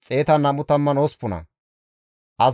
Iyarkko katama asati 345,